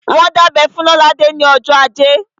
Wọ́n dábẹ́ fún Lolade ní ọjọ́ ajé